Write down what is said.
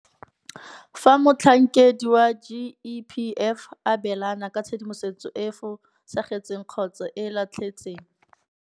Fa motlhankedi wa GEPF a abelana ka tshedimosetso e e fosagetseng kgotsa e e latlhetsang.